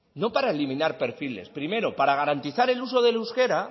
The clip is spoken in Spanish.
no para eliminar perfiles primero para garantizar el uso del euskera